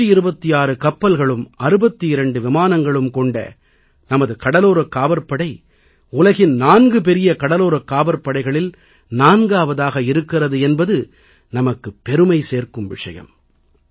126 கப்பல்களும் 62 விமானங்களும் கொண்ட நமது கடலோரக் காவற்படை உலகின் 4 மிகப்பெரிய கடலோரக் காவற்படைகளில் 4ஆவதாக இருக்கிறது என்பது நமக்குப் பெருமை சேர்க்கும் விஷயம்